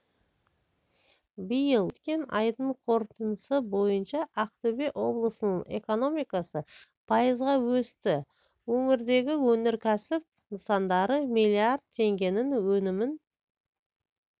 биыл өткен айдың қорытындысы бойынша ақтөбе облысының экономикасы пайызға өсті өңірдегі өнеркәсіп нысандары миллиард теңгенің өнімін